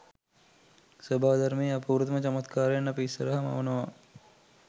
ස්වභාවධර්මයේ අපූරුතම චමත්කාරයන් අපි ඉස්සරහා මවනවා.